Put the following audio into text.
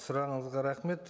сұрағыңызға рахмет